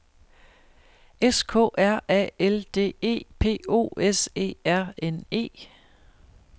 S K R A L D E P O S E R N E